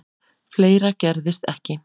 Fleira gerðist ekki.